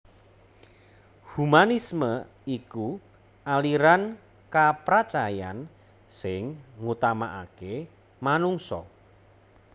Humanisme iku aliran kapracayan sing ngutamakaké manungsa